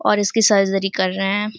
और इसकी सर्जरी कर रहे हैं।